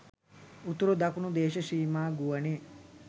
උතුරු දකුණු දේශසීමා ගුවනේ